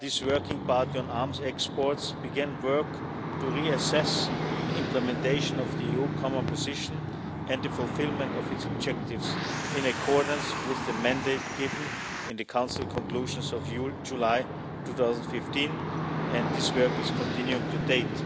this Working Party on Arms Exports began work to reassess the implementation of the EU Common Position and the fulfilment of its objectives in accordance with the mandate given in the Council conclusions of July 2015 and this work is continuing to date.